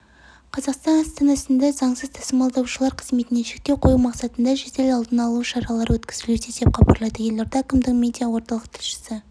қазақстан астанасында заңсыз тасымалдаушылар қызметіне шектеу қою мақсатында жедел алдын алу шаралары өткізілуде деп хабарлайды елорда әкімдігінің медиа орталық тілшісі